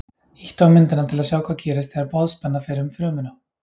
Ýttu á myndina til að sjá hvað gerist þegar boðspenna fer um frumuna.